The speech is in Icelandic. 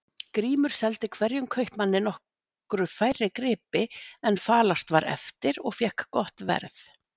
Grímur seldi hverjum kaupmanni nokkru færri gripi en falast var eftir og fékk gott verð.